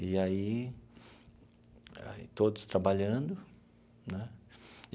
E aí, todos trabalhando né.